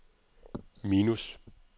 minus